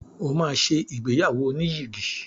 O máa ṣe ìgbéyàwó oníyìgì.